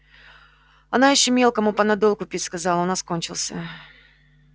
она ещё мелкому панадол купить сказала у нас кончился